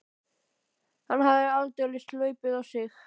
Hann hafði aldeilis hlaupið á sig.